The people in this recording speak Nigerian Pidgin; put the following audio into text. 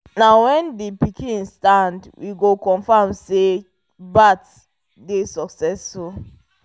na when the pikin stand we go confirm say the birth dey succesful